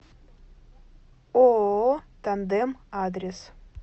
ооо тандем адрес